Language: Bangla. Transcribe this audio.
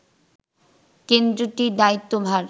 কেন্দ্রটির দায়িত্ব ভার